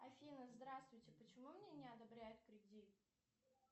афина здравствуйте почему мне не одобряют кредит